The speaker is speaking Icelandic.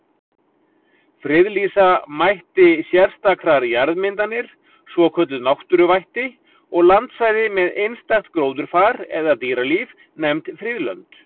Friðlýsa mætti sérstakar jarðmyndanir, svokölluð náttúruvætti, og landsvæði með einstakt gróðurfar eða dýralíf, nefnd friðlönd.